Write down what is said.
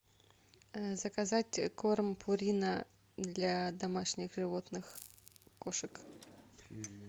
заказать корм пурина для домашних животных кошек